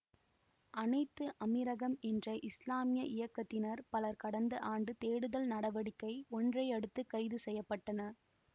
அனைத்து அமீரகம் என்ற இசுலாமிய இயக்கத்தினர் பலர் கடந்த ஆண்டு தேடுதல் நடவடிக்கை ஒன்றையடுத்துக் கைது செய்ய பட்டனர்